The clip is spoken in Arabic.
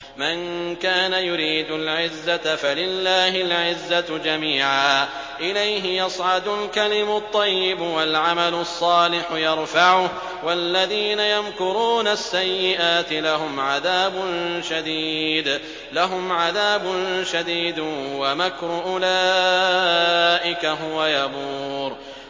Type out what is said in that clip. مَن كَانَ يُرِيدُ الْعِزَّةَ فَلِلَّهِ الْعِزَّةُ جَمِيعًا ۚ إِلَيْهِ يَصْعَدُ الْكَلِمُ الطَّيِّبُ وَالْعَمَلُ الصَّالِحُ يَرْفَعُهُ ۚ وَالَّذِينَ يَمْكُرُونَ السَّيِّئَاتِ لَهُمْ عَذَابٌ شَدِيدٌ ۖ وَمَكْرُ أُولَٰئِكَ هُوَ يَبُورُ